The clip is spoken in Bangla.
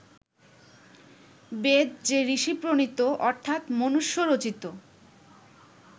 বেদ যে ঋষি-প্রণীত অর্থাৎ মনুষ্য-রচিত